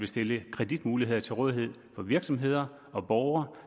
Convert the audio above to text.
stillet kreditmuligheder til rådighed for virksomheder og borgere